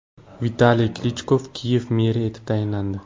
Vitaliy Klichko Kiyev meri etib saylandi.